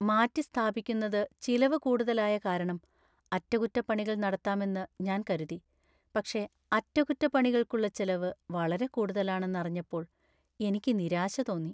മാറ്റിസ്ഥാപിക്കുന്നത് ചിലവു കൂടുതലായ കാരണം അറ്റകുറ്റപ്പണികൾ നടത്താമെന്ന് ഞാൻ കരുതി, പക്ഷേ അറ്റകുറ്റപ്പണികൾക്കുള്ള ചെലവ് വളരെ കൂടുതലാണെന്ന് അറിഞ്ഞപ്പോൾ എനിക്ക് നിരാശ തോന്നി.